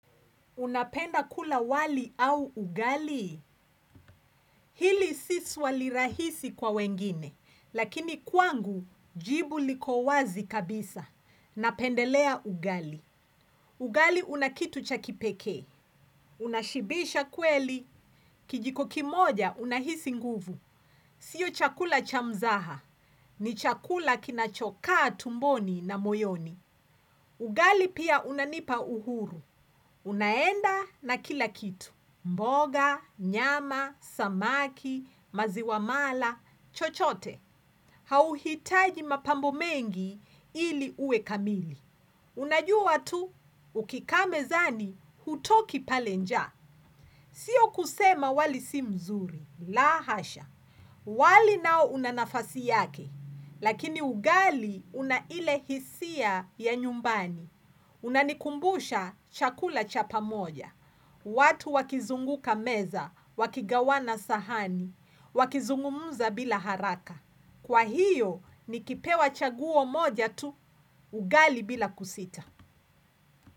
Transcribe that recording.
Unapenda kula wali au ugali, hili si swali rahisi kwa wengine, lakini kwangu jibu liko wazi kabisa. Napendelea ugali. Ugali unakitu chakipekee, unashibisha kweli, kijiko kimoja unahisi nguvu. Sio chakula chamzaha, ni chakula kinachokaa tumboni na moyoni. Ugali pia unanipa uhuru, unaenda na kila kitu. Mboga, nyama, samaki, maziwamala, chochote, hauhitaji mapambo mengi ili uwe kamili. Unajua tu, ukikaa mezani, hutoki pale njaa. Siyo kusema wali si mzuri, la hasha. Wali nao unanafasi yake, lakini ugali unaile hisia ya nyumbani. Unanikumbusha chakula chapa moja. Watu wakizunguka meza, wakigawana sahani, wakizungumuza bila haraka. Kwa hiyo, nikipewa chaguo moja tu, ugali bila kusita.